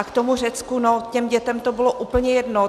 A k tomu Řecku, no těm dětem to bylo úplně jedno.